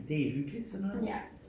Det er hyggeligt sådan noget